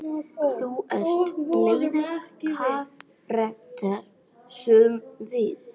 Þú ert svoleiðis karakter, sögðum við.